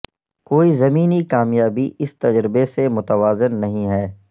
کوئی زمینی کامیابی اس تجربے سے متوازن نہیں ہے